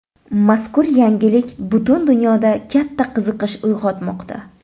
Mazkur yangilik butun dunyoda katta qiziqish uyg‘otmoqda.